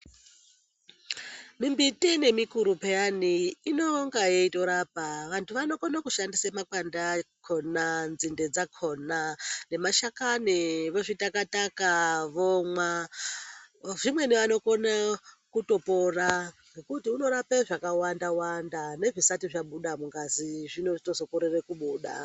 Mimbiti nemikuru peyani inonga yeitorapa. Vantu vanokona kushandise makwande akona, nzinde dzakona nemashakani vozvita-kataka vomwa. Zvimweni vanokona kutopora ngekuti unorape zvakawanda-wanda, nezvisati zvabuda mungazi zvinochitozokorere kubuda.